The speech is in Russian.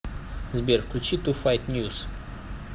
сбер включи ту файт ньюс